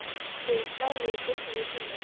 Þið eruð skræfur ef þið komið ekki!